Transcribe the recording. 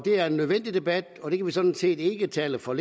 er en nødvendig debat og det kan vi sådan set ikke tale for